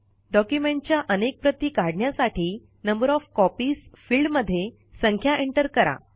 डॉक्युमेंटच्या अनेक प्रति काढण्यासाठी नंबर ओएफ कॉपीज फिल्डमध्ये संख्या एंटर करा